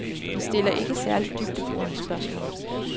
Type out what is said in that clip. De stiller ikke særlig dybdeborende spørgsmål.